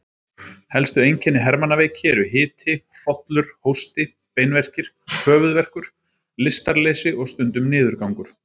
Helstu einkenni hermannaveiki eru hiti, hrollur, hósti, beinverkir, höfuðverkur, lystarleysi og stundum niðurgangur.